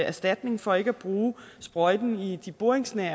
erstatning for ikke at bruge sprøjtning i de boringsnære